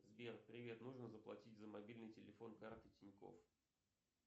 сбер привет нужно заплатить за мобильный телефон картой тинькофф